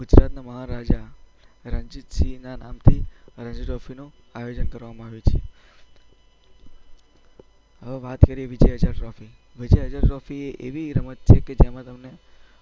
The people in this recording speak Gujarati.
ગુજરાતના મહાન રાજા રણજીત સિંહના નામથી રણજી ટ્રોફીનું આયોજન કરવામાં આવે છે. હવે વાત કરીએ વિજય હઝારે ટ્રોફીની, વિજય હઝારે ટ્રોફી એ એવી રમત છે કે જેમાં તમને